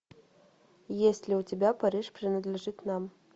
есть ли у тебя париж принадлежит нам